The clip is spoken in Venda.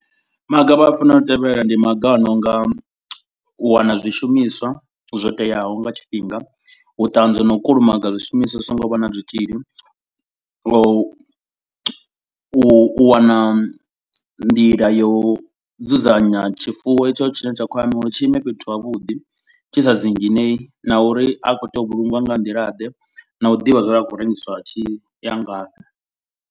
Maga vha fanela u tevhelela ndi maga a no nga u wana zwishumiswa zwo teaho nga tshifhinga. U ṱanzwa u na u kulumaga zwishumiswa zwi so ngo vha na zwitzhili. Nga u u wana nḓila ya u dzudzanya tshifuwo tshetsho tshine tsha khou amba uri tshi ime fhethu havhuḓi tshi sa dzinginei. Na uri a khou tea u vhulungiwa nga nḓila ḓe na u ḓivha zwa uri a khou rengiswa a tshi ya ngafhi.